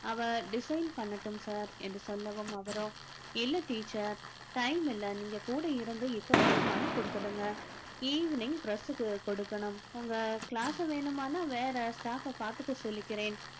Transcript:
அவள் design பண்ணட்டும் sir என்று சொல்லவும் அவரோ இல்லை teacher time இல்லை நீங்க கூட இருந்து இப்பவே பண்ணி கொடுத்துடுங்க evening press க்கு கொடுக்கணும் உங்க class வேணுமான்னா வேற staff அ பார்த்துக்க சொல்லிக்கிறேன்